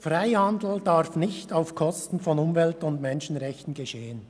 Freihandel darf nicht auf Kosten von Umwelt- und Menschenrechten stattfinden.